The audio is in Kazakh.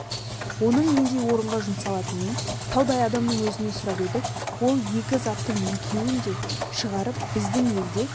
оның нендей орынға жұмсалатынын таудай адамның өзінен сұрап едік ол екі заттың екеуін де шығарып біздің елде